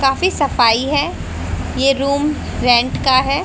काफी सफाई है ये रूम रेंट का है।